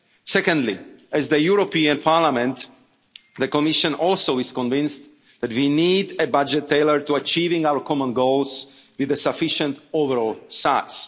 Secondly, like the European Parliament, the Commission is also convinced that we need a budget tailored to achieving our common goals with a sufficient overall